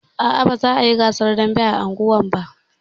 Aa, ba za a yi gasar dambe a unguwarmu ba